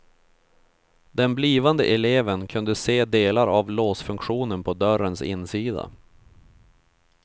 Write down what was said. Den blivande eleven kunde se delar av låsfunktionen på dörrens insida.